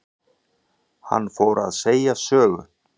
Hann fór að segja sögu.